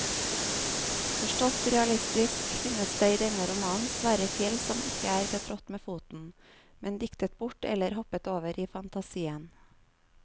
Forstått realistisk finnes det i denne romanen svære fjell som ikke er betrådt med foten, men diktet bort eller hoppet over i fantasien.